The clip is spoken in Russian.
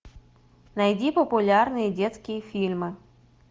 найди популярные детские фильмы